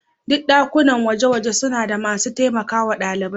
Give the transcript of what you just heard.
Duk ɗakunan gwaje-gwaje suna da masu taimakawa ɗalibai.